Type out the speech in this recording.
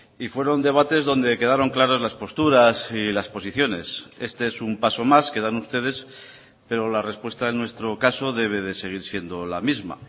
y fueron debates dónde quedaron claras las posturas y las posiciones este es un paso más que dan ustedes pero la respuesta en nuestro caso debe de seguir siendo la misma